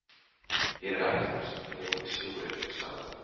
Hér er ekkert nema sjórinn, sagði hann.